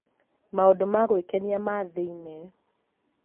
Maũndũ ma gwĩkenia ma thĩinĩ;